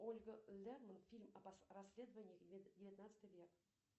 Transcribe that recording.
ольга фильм о расследованиях девятнадцатый век